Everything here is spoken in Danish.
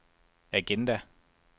agenda